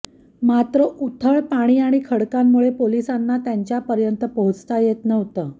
मात्र उथळ पाणी आणि खडकांमुळं पोलिसांना त्यांच्यापर्यंत पोहोचता येत नव्हतं